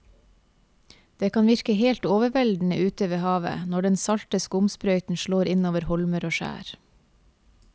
Det kan virke helt overveldende ute ved havet når den salte skumsprøyten slår innover holmer og skjær.